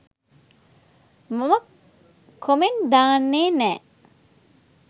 මම කොමෙන්ට් දාන්නේ නෑ